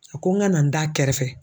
A ko n ka na n d'a kɛrɛfɛ.